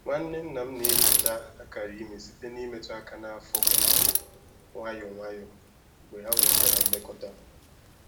Nwanne nna m na-enyocha akara ime site n’imetụ aka n’afọ nwayọ nwayọ mgbe ha nwechara mmekọta.